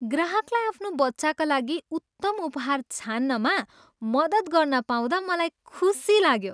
ग्राहकलाई आफ्नो बच्चाका लागि उत्तम उपहार छान्नमा मदत गर्न पाउँदा मलाई खुसी लाग्यो।